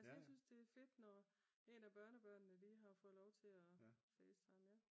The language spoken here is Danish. Altså jeg synes det er fedt når en af børnebørnene lige har fået lov til at facetime ja